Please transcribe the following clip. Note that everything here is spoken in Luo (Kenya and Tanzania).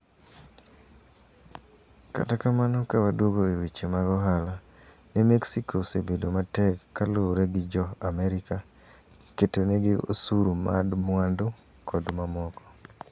Kata kamano kawaduogo eweche mag ohala ne mexiko osebedo matek kaluwore gi jo Amerka keto negi osuru mad mwandu kod mamoko.